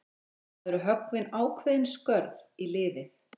Það eru höggvin ákveðin skörð í liðið.